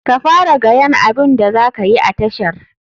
Ka fara gayan abun da zakayi a tashar.